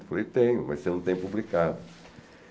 Eu falei, tenho, mas você não tem publicado.